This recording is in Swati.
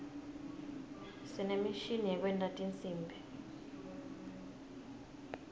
sinemishini yekwenta tinsimbi